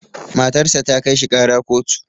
Matar sa ta kai shi ƙara kotu.